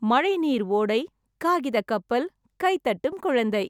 மழை நீர் ஓடை - காகித கப்பல் - கை தட்டும் குழந்தை!